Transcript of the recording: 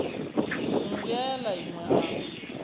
mmbwa ya la inwe a